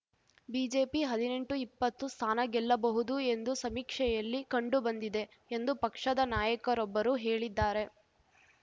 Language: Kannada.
ಬಿಜೆಪಿ ಹದ್ನೆಂಟುಇಪ್ಪತ್ತು ಸ್ಥಾನ ಗೆಲ್ಲಬಹುದು ಎಂದು ಸಮೀಕ್ಷೆಯಲ್ಲಿ ಕಂಡುಬಂದಿದೆ ಎಂದು ಪಕ್ಷದ ನಾಯಕರೊಬ್ಬರು ಹೇಳಿದ್ದಾರೆ